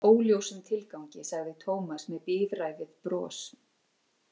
Óljósum tilgangi, sagði Tómas með bíræfið bros.